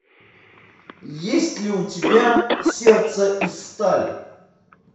есть ли у тебя сердце из стали